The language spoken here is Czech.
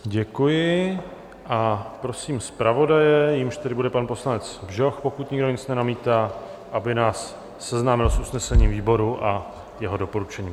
Děkuji a prosím zpravodaje, jímž tedy bude pan poslanec Bžoch, pokud nikdo nic nenamítá, aby nás seznámil s usnesením výboru a jeho doporučením.